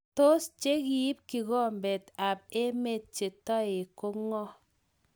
Tos chekiib kikombet ab emet che toek kong'o?